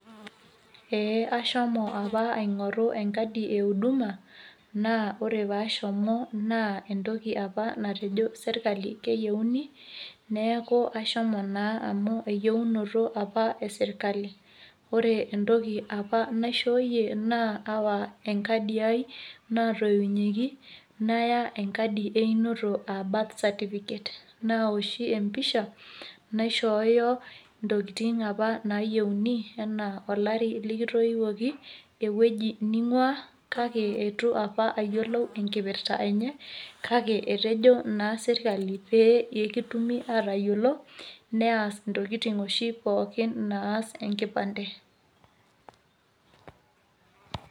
eee ashomo apa aingoru enkadi e uduma na ore apa pashomo na entoki apa natejo serkali keyieuni, niaku ashomo na amu eyieunoto apa e serkali, ore entoki apa nashoyie na awa enkadi ai naitoinyieki, naya enkadi ai einoto, aa birthcertificate[cs naoshi empisha naishoyo ntokitin apa nayieuni ena olari likitounyieki, eweuji ningua kake etu apa ayiolou enkipra enye kake etejo na serkali pekitumokini atayiolo nias na ntokitin oshi pooki naas enkipande.